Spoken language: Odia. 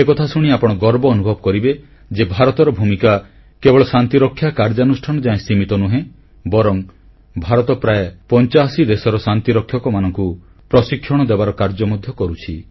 ଏକଥା ଶୁଣି ଆପଣ ଗର୍ବ ଅନୁଭବ କରିବେ ଯେ ଭାରତର ଭୂମିକା କେବଳ ଶାନ୍ତିରକ୍ଷା କାର୍ଯ୍ୟାନୁଷ୍ଠାନ ଯାଏ ସୀମିତ ନୁହେଁ ବରଂ ଭାରତ ପ୍ରାୟ 85ଟି ଦେଶର ଶାନ୍ତିରକ୍ଷା ବାହିନୀକୁ ପ୍ରଶିକ୍ଷଣ ଦେବାର କାର୍ଯ୍ୟ ମଧ୍ୟ କରୁଛି